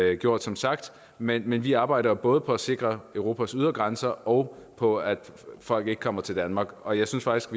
er gjort som sagt men men vi arbejder jo både på at sikre europas ydre grænser og på at folk ikke kommer til danmark og jeg synes faktisk